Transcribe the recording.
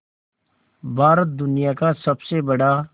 भारत दुनिया का सबसे बड़ा